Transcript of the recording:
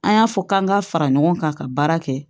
An y'a fɔ k'an ka fara ɲɔgɔn kan ka baara kɛ